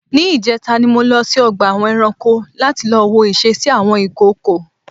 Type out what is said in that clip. ní ìjẹta ni mo lọ sí ọgbà eranko lati lọ wo ìsesí àwọn ìkookò.